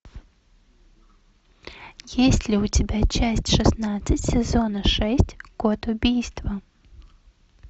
есть ли у тебя часть шестнадцать сезона шесть код убийства